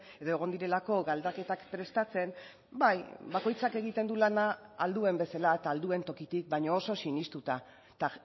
edo egon direlako galdaketak prestatzen bai bakoitzak egiten du lana ahal duen bezala eta ahal duen tokitik baina oso sinestuta eta